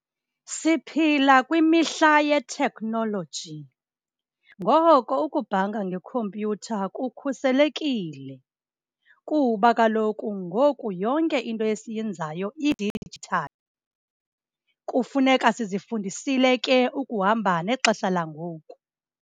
Siphila kwimihla ye-technology, ngoko ukubhanka ngekhompyutha kukhuselekile kuba kaloku ngoku yonke into esiyenzayo idijithali. Kufuneka sizifundisile ke ukuhamba nexesha langoku.